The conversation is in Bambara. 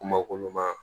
Kuma kolon ma